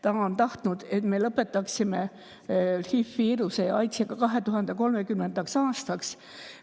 Ta on tahtnud, et me lõpetaksime HI-viiruse ja AIDS‑i 2030. aastaks.